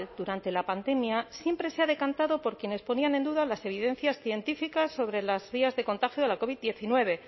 durante la pandemia siempre se ha decantado por quienes ponían en duda las evidencias científicas sobre las vías de contagio de la covid diecinueve